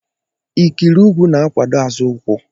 Ikiri ụkwụ na-akwado azụ ụkwụ.